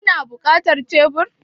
Kuna buƙatar shebur?